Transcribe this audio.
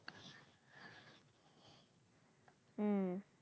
হম